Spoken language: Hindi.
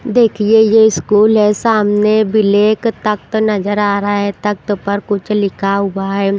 देखिए ये स्कूल है सामने ब्लैक तख्त नजर आ रहा है तख्त पर कुछ लिखा हुआ है।